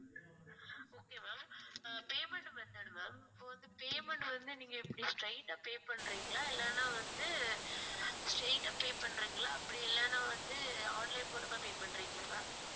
okay ma'am அ payment method ma'am இப்ப வந்து payment வந்து நீங்க எப்படி straight ஆ pay பண்றீங்களா இல்லைன்னா வந்து straight ஆ pay பண்றீங்களா அப்படி இல்லேன்னா வந்து online மூலமா pay பண்றீங்களா ma'am